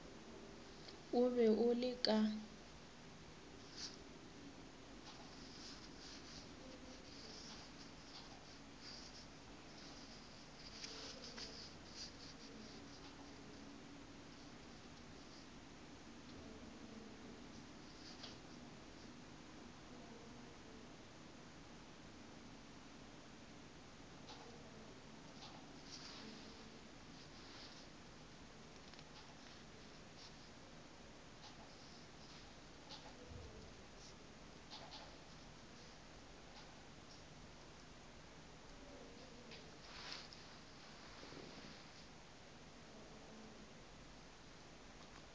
o be o le ka